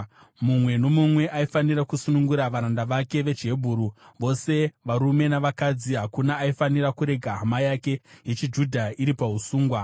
Mumwe nomumwe aifanira kusunungura varanda vake vechiHebheru, vose varume navakadzi; hakuna aifanira kurega hama yake yechiJudha iri pausungwa.